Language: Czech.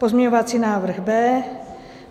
Pozměňovací návrh B.